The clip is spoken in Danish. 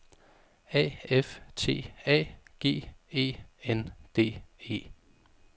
A F T A G E N D E